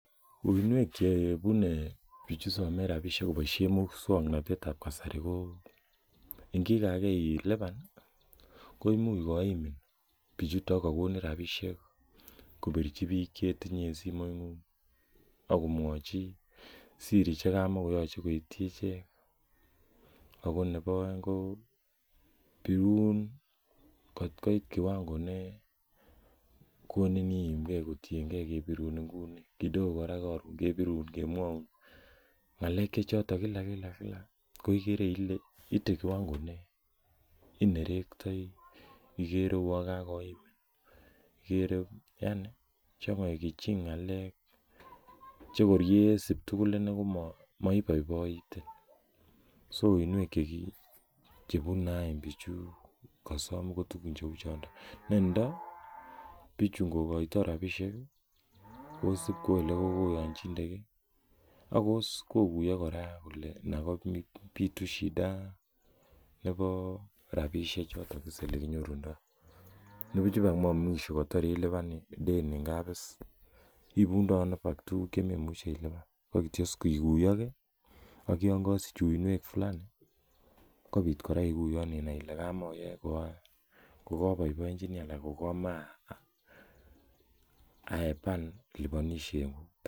Uinwek Che bune bichu some rabisiek koboisien moswoknatet ab kasari ko angikaa ilipan koimuch koimin bichuto kagonin rabisiek ko birchi bik chetinye en simoingung ak komwochi siri Che kama koyoche koityi ichek ago nebo aeng kobirun kot koit kiwango ne konin iimge kotienge birun nguni kidogo kora Karon kobirun komwaun ngalek Che choton kila kila ko igere ile ite kiwango ne inerektoi iger kouon kagoimin igere changachin ngalek Che korye sub tugul inei komabaibaitin so uinwek Che bune any bichu kosom ko tugun choniton netai kondo bichu ngokoito rabisiek kosub kou Ole kogoyonchinde ge ak koguiyo kora kole Nan kobitu Shida nebo rabisiek choton beseni bik komyorundoi kwanibuch mwisho kota ilipan is deni ngap ibundoi ano tuguk Che memuche ilipan koik Kityo koguyo ge ak yon kosich uinwek fulani kobit kora iguyon ile kamoyoe kokoboenjeni anan ko komoche aaepan liponishengung